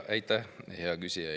Aitäh, hea küsija!